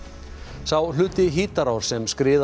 sá hluti Hítarár sem skriðan